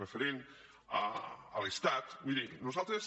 referents a l’estat miri nosaltres